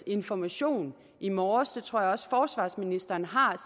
information i morges og det tror jeg også forsvarsministeren har